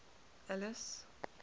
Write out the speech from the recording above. alice